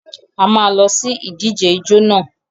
A máa lọ sí ìdíje ijó nà.